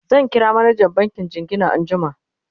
zan kira manjan bankin jingina anjiama